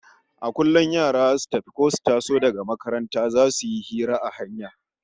A kullum yara zasu tafi ko suka taso daga makaranta zasu yi hira a hanya